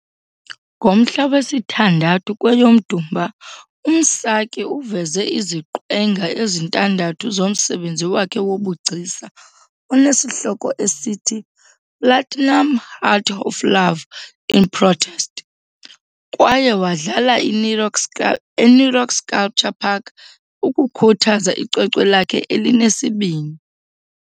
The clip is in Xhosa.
Ngomhla wesithandathu kweyoMdumba, uMsaki uveze iziqwenga ezintandathu zomsebenzi wakhe wobugcisa onesihloko esithi "Platinum Heart of Love In Protest" kwaye wadlala iNirox eNirox Sculpture park ukukhuthaza icwecwe lakhe elinesibini.